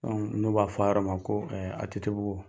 n'o b'a fɔ a yɔrɔ ma ko ATT bugu.